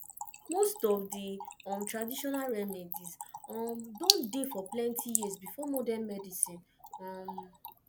most of the um traditional remedies um don dey for plenty years before modern medicine um